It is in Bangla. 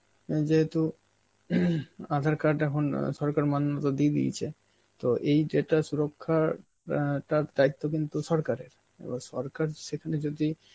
এ যেহেতু আঁধার card এখন আ সরকার মান্যতা দিয়ে দিয়েছে. তো এই data রক্ষার অ্যাঁ তার দায়িত্ব কিন্তু সরকারের, সরকার সেখানে যদি